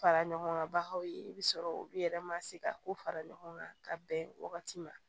Fara ɲɔgɔnga bagaw ye i bi sɔrɔ olu yɛrɛ ma se ka ko fara ɲɔgɔn kan ka bɛn wagati ma